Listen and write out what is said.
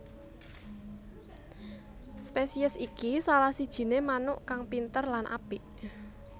Spesiés iki salah sijiné manuk kang pinter lan apik